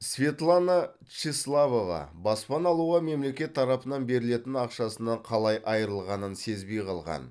светлана тщеславова баспана алуға мемлекет тарапынан берілетін ақшасынан қалай айырылғанын сезбей қалған